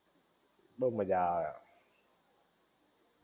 બોવ મજા આવે